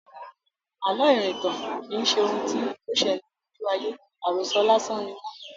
Àlọ́ irintan kì í ṣe ohun tí ó sele lójú aye; àròso lásán ni wọ́n.